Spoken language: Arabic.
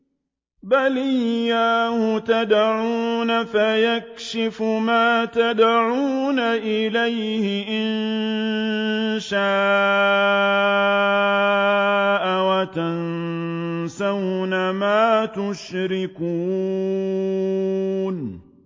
بَلْ إِيَّاهُ تَدْعُونَ فَيَكْشِفُ مَا تَدْعُونَ إِلَيْهِ إِن شَاءَ وَتَنسَوْنَ مَا تُشْرِكُونَ